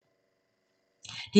DR1